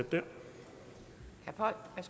har